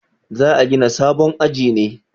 Za a gina sabon aji ne?